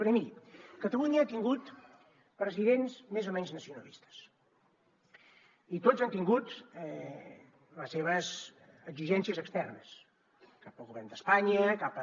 perquè miri catalunya ha tingut presidents més o menys nacionalistes i tots han tingut les seves exigències externes cap al govern d’espanya cap a